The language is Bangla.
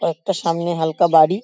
একটা সামনে হাল্কা বাড়ি ।